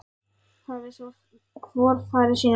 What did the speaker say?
Hafi svo hvor farið sína leið, sáttur að kalla.